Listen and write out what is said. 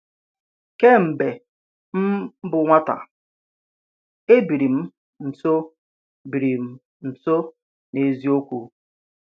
Kémbe m bụ́ nwáta, a bírí m nso bírí m nso ná eziókwu.